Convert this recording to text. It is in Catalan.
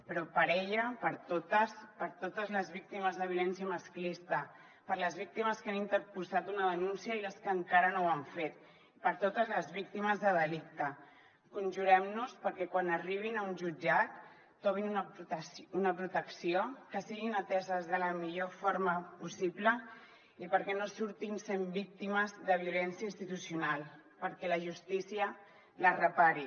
però per ella per totes per totes les víctimes de violència masclista per les víctimes que han interposat una denúncia i les que encara no ho han fet per totes les víctimes de delicte conjurem nos perquè quan arribin a un jutjat trobin una protecció que siguin ateses de la millor forma possible i perquè no surtin sent víctimes de violència institucional perquè la justícia les repari